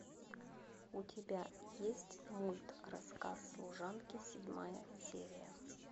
у тебя есть мульт рассказ служанки седьмая серия